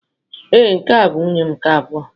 Ee, nke a bụ nwunye m nke abụọ.